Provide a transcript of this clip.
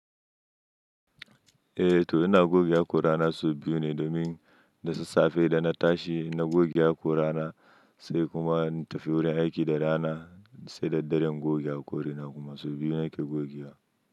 Eh to ina gogewa hakorana sau biyu ne domin da sassafe da na tashi na goge hakorana sai kuma in tafi wurin aiki da rana sai da daddare ingoge hakore na kuma sau biyu nake gogewa.